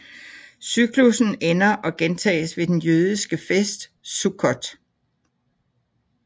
Cyklussen ender og gentages ved den jødiske fest Sukkot